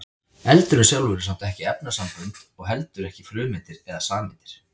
eldurinn sjálfur er samt ekki efnasambönd og heldur ekki frumeindir eða sameindir